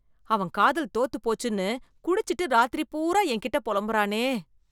அவன் காதல் தோத்து போச்சுன்னு, குடிச்சிட்டு ராத்திரி பூரா என் கிட்ட பொலம்புறானே.